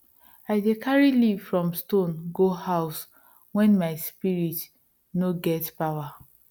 i dey carry leaf from stone go house when my spirit no get pawa